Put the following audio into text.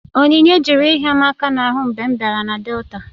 Onyinye jụrụ ịhịa m aka n'ahụ mgbe m bịara Delta